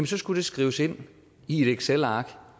så skulle det skrives ind i et excelark